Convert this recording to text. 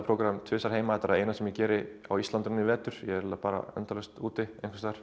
prógram tvisvar heima þetta er það eina sem ég geri á Íslandi í vetur ég er eiginlega annars bara endalaust úti